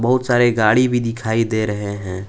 बहुत सारे गाड़ी भी दिखाई दे रहे हैं।